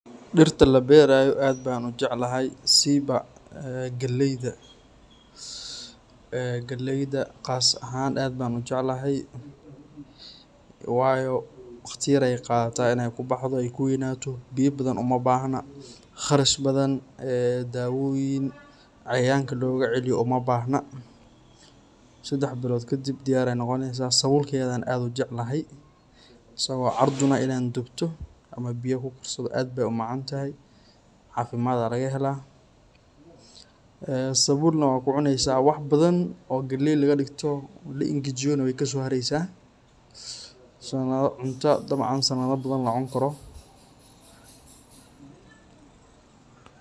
Dirta laberayo aad ban ujeclahay, sibaa ee galeyda, ee galeyda qaas ahan aad ba u jeclaxay, wayo wagti yar ay qadataa inay kubaxdo ay kweynato, biya badan abahna, qarash badan , dawoyin cayayanka logaceliyo umabhna, sadex bilot kadib diyar ay nogoneysaa, sabulkedanah aad an ujeclaxay, asago carduun ah ina dubtoo, ama biya kukarsado, aad bay umacantaxay, cafimad aya lagaxella, ee sabulna waxa kucuneysaa wax badan o galey lagadigto laengajiyo nah waykasohareysaa, wa cunta dabcan sanada badan lacunikaroo.